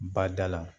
Badala